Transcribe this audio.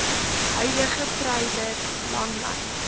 huidige treiler langlyn